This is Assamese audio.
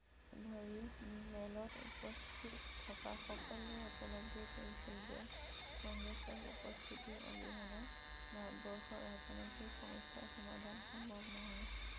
মেলত উপস্থিত থকা সকলোৱে উপলব্ধি কৰিছিল যে, কংগ্ৰেছৰ উপস্থিতি অবিহনে ভাৰতবৰ্ষৰ ৰাজনৈতিক সমস্যা সমাধান সম্ভৱ নহয়